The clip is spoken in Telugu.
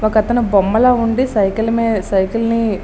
ఒకతను బొమ్మలా ఉండి సైకిల్ మీ సైకిల్ ని --